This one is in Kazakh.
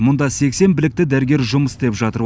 мұнда сексен білікті дәрігер жұмыс істеп жатыр